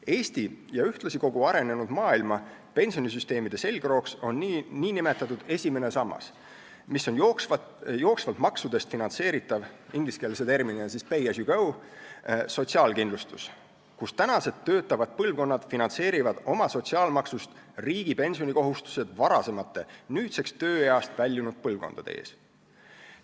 Eesti ja ühtlasi kogu arenenud maailma pensionisüsteemide selgroog on nn esimene sammas, mis on jooksvatest maksudest finantseeritav sotsiaalkindlustus, ingliskeelse terminiga pay as you go, kus praegused töötavad põlvkonnad finantseerivad oma sotsiaalmaksust riigi pensionikohustused varasemate, nüüdseks tööeast väljunud põlvkondade ees.